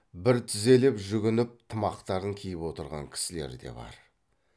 бір тізелеп жүгініп тымақтарын киіп отырған кісілер де бар